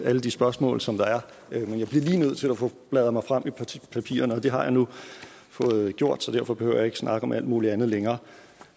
alle de spørgsmål som der er men jeg bliver lige nødt til bladre frem i papirerne det har jeg nu fået gjort så derfor behøver jeg ikke snakke om alt mulig andet længere